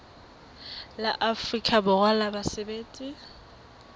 la afrika borwa la basebetsi